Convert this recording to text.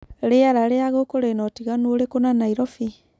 rĩera ria gukũ rĩna utiganu ũrĩkũ na Nairobi